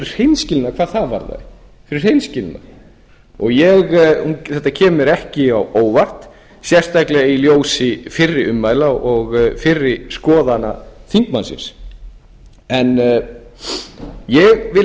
hreinskilnina hvað það varðar þetta kemur mér ekki á óvart sérstaklega í ljósi fyrri ummæla og fyrri skoðana þingmannsins en ég vil